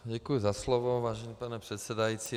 Děkuji za slovo, vážený pane předsedající.